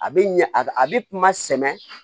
A bɛ ɲɛ a bɛ ma sɛmɛ